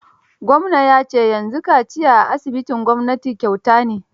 Gwamna ya ce yanzu kaciya a asibitin gwamnati kyauta ne.